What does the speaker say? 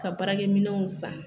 Ka baarakɛminɛnw san.